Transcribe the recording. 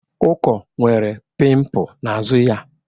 Uko nwere pimpụ n'azụ ya.